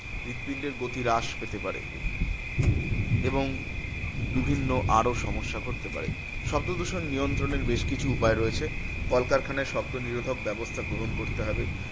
হৃৎপিণ্ডের গতি হ্রাস পেতে পারে এবং বিভিন্ন আরো সমস্যা ঘটতে পারে। শব্দদূষণ নিয়ন্ত্রণের বেশ কিছু উপায় রয়েছে, কলকারখানায় শব্দ নিরোধক ব্যবস্থা গ্রহণ করতে হবে।